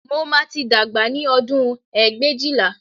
Mo máa tí dàgbà ní ọdún ẹgbẹ̀éjìlá